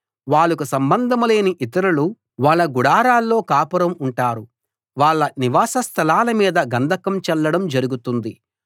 వాళ్లకు సంబంధంలేని ఇతరులు వాళ్ళ గుడారాల్లో కాపురం ఉంటారు వాళ్ళ నివాసస్థలాల మీద గంధకం చల్లడం జరుగుతుంది